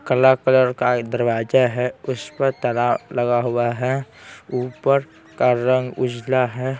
कला कलर का दरवाजा हैं उस पर तला लगा हुआ हैं ऊपर का रंग उजला हैं।